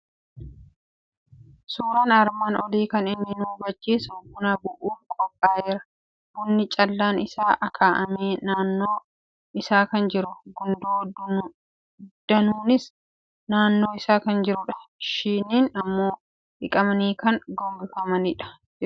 Suuraan armaan olii kan inni nu hubachiisu buna bu'uuf qophaa'eeru, bunni callaan isaa akaa'amee naannoo isaa kan jiru, gundoo danuunis naannoo isaa kan jirudha. Shiniin immoo dhiqamanii gadi gogombifamanii jiru.